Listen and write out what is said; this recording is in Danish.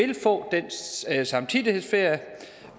vil få den samtidighedsferie